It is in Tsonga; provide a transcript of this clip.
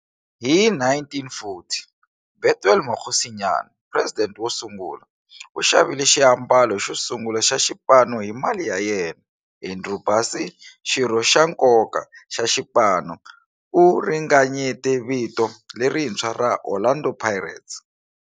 Hi 1940, Bethuel Mokgosinyane, president wosungula, u xavile xiambalo xosungula xa xipano hi mali ya yena. Andrew Bassie, xirho xa nkoka xa xipano, u ringanyete vito lerintshwa ra 'Orlando Pirates'.